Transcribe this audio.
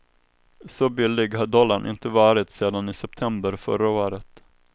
Så billig har dollarn inte varit sedan i september förra året.